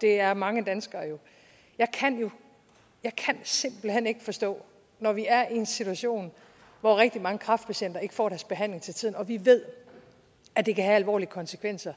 det er mange danskere jo og jeg kan simpelt hen ikke forstå når vi er i en situation hvor rigtig mange kræftpatienter ikke får deres behandling til tiden og vi ved at det kan have alvorlige konsekvenser